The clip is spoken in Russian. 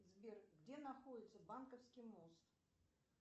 сбер где находится банковский мост